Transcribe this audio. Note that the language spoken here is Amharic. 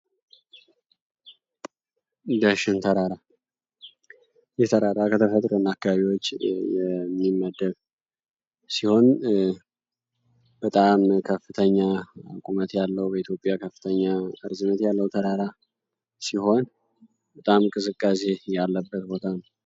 ዳሽን ተራራ ከ ተፈጥሮ አካባቢዎች የሚመደብ ሲሆን በጣም ከፍተኛ በኢትዮጵያ ከፍተኛ ቁመት ያለው ተራራ ሲሆን በጣም ቅዝቃዜ ያለበት ቦታ ነው።